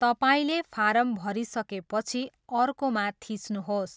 तपाईँले फारम भरिसकेपछि 'अर्को' मा थिच्नुहोस्।